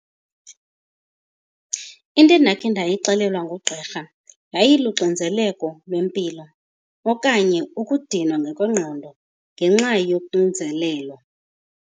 Into endakhe ndayixelelwa ngugqirha yayiluxinzeleko lwempilo okanye ukudinwa ngokwengqondo ngenxa yoxinzelelo.